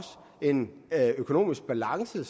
en økonomisk balance